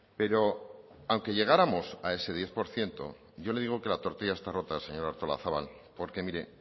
pero aunque llegáramos a ese diez por ciento yo le digo que la tortilla está rota señora artolazabal porque mire